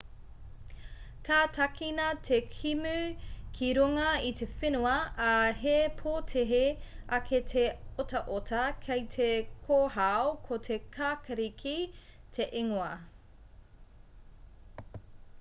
ka tākina te kēmu ki runga i te whenua ā he pōtehe ake te otaota kei te kōhao ko te kākariki te ingoa